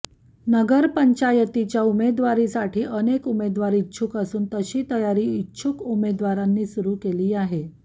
नगरपंचायतीच्या उमेदवारीसाठी अनेक उमेदवार इच्छुक असून तशी तयारी इच्छुक उमेदवारांनी सुरु केली आहे